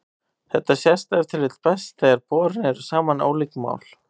Þetta sést ef til vill best þegar borin eru saman ólík mál.